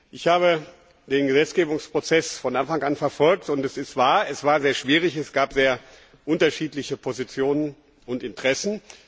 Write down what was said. Ich habe den Gesetzgebungsprozess von Anfang an verfolgt, und es ist wahr Es war sehr schwierig, es gab sehr unterschiedliche Positionen und Interessen.